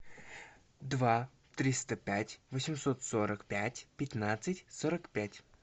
два триста пять восемьсот сорок пять пятнадцать сорок пять